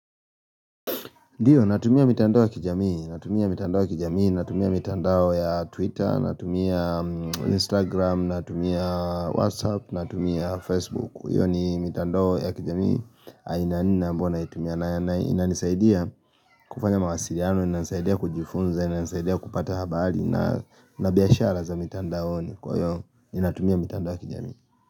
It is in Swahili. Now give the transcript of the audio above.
NDio natumia mitandao ya kijamii, natumia mitandao ya kijamii, natumia mitandao ya twitter, natumia instagram, natumia whatsapp, natumia facebook. Hiyo ni mitandoo ya kijamii, aina nne ambayo naitumia, na inisaidia kufanya mawasiliano, ina nisaidia kujifunza, ina nisaidia kupata habari, ina biashara za mitandaoni kwa hiyo, ninatumia mitandao ya kijamii.